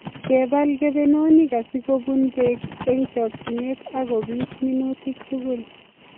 Kebal kebenonik asikobun Bek eng chokchinet akobis minutik tugul